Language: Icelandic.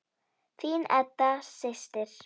Þín Edda systir.